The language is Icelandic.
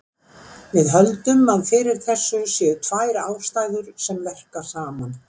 Við höldum að fyrir þessu séu tvær ástæður sem verka saman.